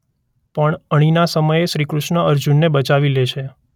પણ અણીના સમયે શ્રી કૃષ્ણ અર્જુનને બચાવી લે છે.